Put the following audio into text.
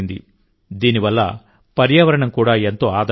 దీని వల్ల పర్యావరణం కూడా ఎంతో ఆదా అయింది